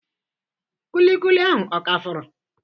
Kulikuli ahụ ọ ka fọrọ?